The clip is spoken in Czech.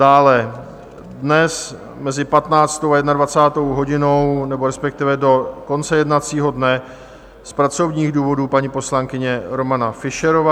Dále dnes mezi 15. a 21. hodinou nebo respektive do konce jednacího dne z pracovních důvodů paní poslankyně Romana Fischerová.